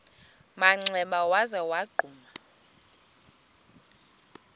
manxeba waza wagquma